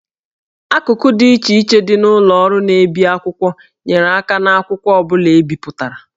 Akụkụ dị iche iche dị na ụlọ ọrụ na-ebi akwụkwọ nyere aka n'akwụkwọ ọ bụla e bipụtara